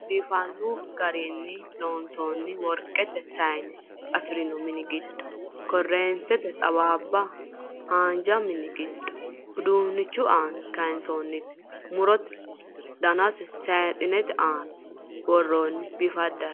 Biifanno garinni loonsoonni worqete sona afirinoha mini giddo korreentete xawaabba, haanja mini giddo uduunnichu aana kaansoonniti murote dananna saaxinete aana worroonni biifaddare.